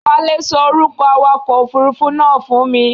Wálé ṣọ orúkọ awakọ òfurufú náà fún mi.